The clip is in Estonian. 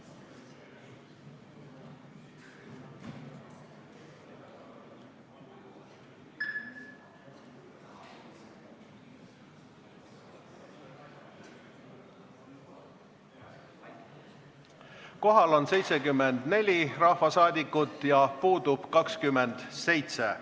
Kohaloleku kontroll Kohal on 74 rahvasaadikut, puudub 27.